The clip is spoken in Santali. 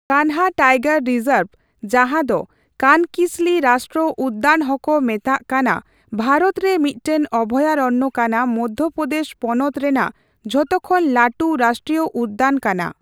ᱠᱟᱱᱦᱟ ᱴᱟᱭᱜᱚᱨ ᱨᱤᱡᱚᱨᱵ, ᱡᱟᱸᱦᱟ ᱫᱚ ᱠᱟᱱᱠᱤᱥᱞᱤ ᱨᱟᱥᱴᱨᱚ ᱩᱫᱫᱟᱱ ᱦᱚᱸᱠᱚ ᱢᱮᱛᱟᱜ ᱠᱟᱱᱟ, ᱵᱷᱟᱨᱚᱛ ᱨᱮ ᱢᱤᱴᱟᱝ ᱚᱵᱷᱭᱟᱨᱚᱱᱭᱚ ᱠᱟᱱᱟ ᱢᱚᱫᱭᱚ ᱯᱨᱚᱫᱮᱥ ᱯᱚᱱᱚᱛ ᱨᱮᱱᱟᱜ ᱡᱚᱛᱚᱠᱷᱚᱱ ᱞᱟᱹᱴᱩ ᱨᱟᱥᱴᱨᱤᱭᱚ ᱩᱫᱫᱚᱱ ᱠᱟᱱᱟ ᱾